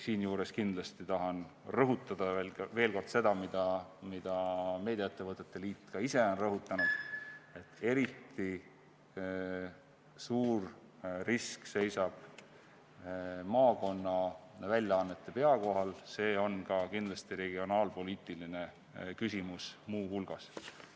Siinjuures tahan kindlasti rõhutada veel kord seda, mida meediaettevõtete liit ka ise on rõhutanud, et eriti suur oht seisab maakonnaväljaannete pea kohal, see on kindlasti regionaalpoliitiline küsimus muu hulgas.